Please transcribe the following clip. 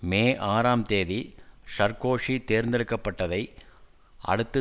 மே ஆறாம் தேதி சர்க்கோசி தேர்ந்தெடுக்கப்பட்டதை அடுத்து